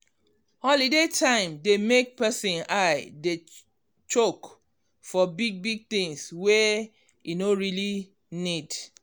holiday time dey make person eye dey chook for big big things wey e no really need